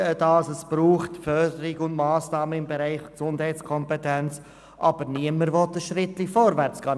Sie sagen, es brauche Massnahmen im Bereich der Gesundheitskompetenz, aber niemand will einen Schritt vorwärtsgehen.